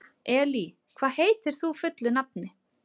Elí, hvað heitir þú fullu nafni?